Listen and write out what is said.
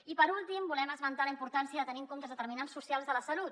i per últim volem esmentar la importància de tenir en compte els determinants socials de la salut